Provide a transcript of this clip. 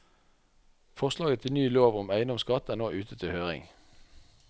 Forslaget til ny lov om eiendomsskatt er nå ute til høring.